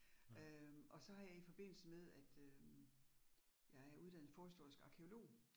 Øh og så har jeg i forbindelse med at øh jeg er uddannet forhistorisk arkæolog